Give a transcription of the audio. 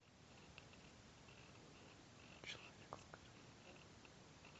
человек